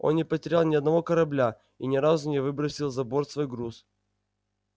он не потерял ни одного корабля и ни разу не выбросил за борт свой груз